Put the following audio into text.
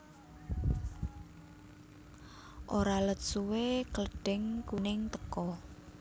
Ora let suwé Klething kuning teka